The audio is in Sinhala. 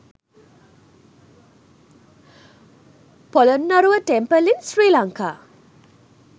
polonnaruwa temple in sri lanka